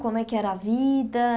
Como é que era a vida?